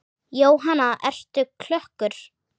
Jóhanna: Ertu klökkur?